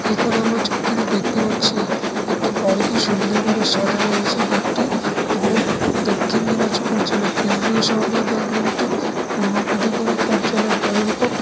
এখন আমরা ছুটিতে দেখতে পাচ্ছি একটি বড় কি সুন্দর করে সাজানো হয়েছে গেট - টি এবং দক্ষিণ দিনাজপুর_জেলা_কেন্দ্রীয়_সমবায়_ব্যাংক_লিমিটেড পুরোনো পদককারী কার্যালয় গড়ের কোর্ট